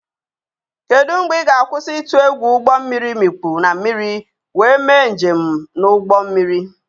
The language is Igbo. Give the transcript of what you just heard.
Kedu mgbe ị ga-akwụsị ịtụ egwu ụgbọ mmiri imikpu na mmiri wee mee njem na ụgbọ mmiri?